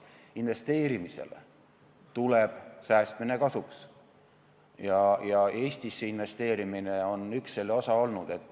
Investeerimisele tuleb säästmine kasuks ja Eestisse investeerimine on üks selle osa olnud.